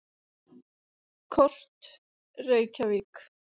Kort: Reykjavík.